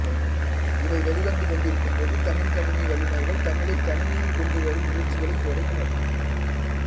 இவை வெளிவந்து கொண்டிருக்கும்போது தமிழ்க் கணினி வல்லுநர்கள் தமிழைக் கணினியில் கொண்டு வரும் முயற்சிகளைத் தொடங்கினர்